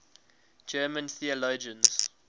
german theologians